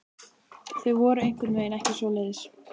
Þau voru einhvern veginn ekki svoleiðis.